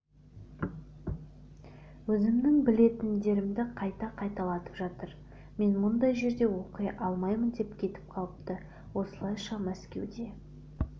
өзімнің білетіндерімді қайта қайталатып жатыр мен мұндай жерде оқи алмаймын деп кетіп қалыпты осылайша мәскеуде